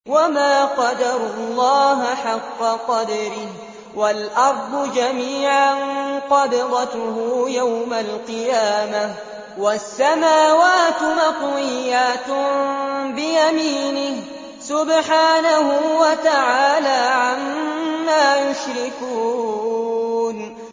وَمَا قَدَرُوا اللَّهَ حَقَّ قَدْرِهِ وَالْأَرْضُ جَمِيعًا قَبْضَتُهُ يَوْمَ الْقِيَامَةِ وَالسَّمَاوَاتُ مَطْوِيَّاتٌ بِيَمِينِهِ ۚ سُبْحَانَهُ وَتَعَالَىٰ عَمَّا يُشْرِكُونَ